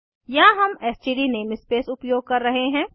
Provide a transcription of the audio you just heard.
यहाँ हम STD namespace उपयोग कर रहे हैं